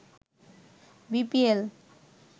BPL